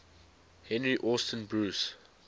henry austin bruce